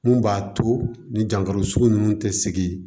Mun b'a to ni jankaro sugu ninnu tɛ sigi